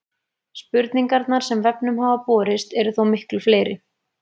Spurningarnar sem vefnum hafa borist eru þó miklu fleiri.